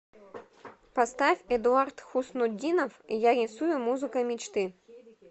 поставь эдуард хуснутдинов я рисую музыкой мечты